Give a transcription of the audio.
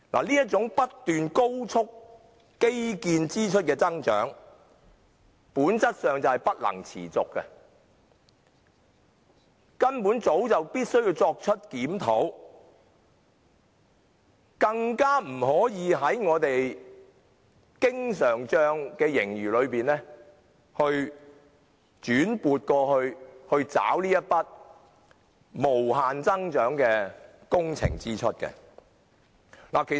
基建支出不斷高速增長，基本工程儲備基金不能維持下去，政府早就應該作出檢討，更不可把經常帳盈餘轉撥作為這筆無限增長的工程支出結帳之用。